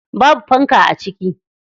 Babu fanka a ciki.